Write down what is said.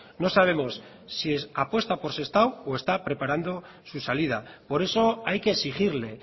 no sabemos si apuesta por sestao o está preparando su salida por eso hay que exigirle